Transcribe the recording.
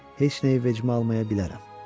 Heç nəyi vecimə almayabilərəm.